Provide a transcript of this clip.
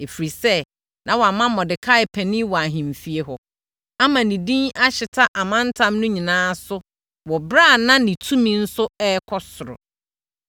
Ɛfiri sɛ na wama Mordekai panin wɔ ahemfie hɔ, ama ne din ahyeta amantam no nyinaa so wɔ ɛberɛ a na ne tumi nso rekɔ soro.